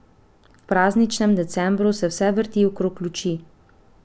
V prazničnem decembru se vse vrti okrog luči.